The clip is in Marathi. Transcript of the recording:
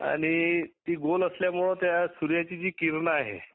आणि ती गोल असल्यामुळे त्या सुर्याची जी किरण आहे.